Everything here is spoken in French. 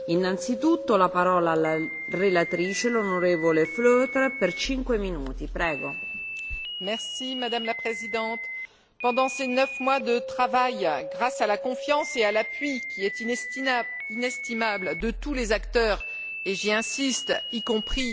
Madame la Présidente, pendant ces neuf mois de travail, grâce à la confiance et à l'appui inestimable de tous les acteurs et, j'insiste, y compris des parlementaires européens, qui ne se sont jamais résolus à abandonner le combat pour la justice et pour la vérité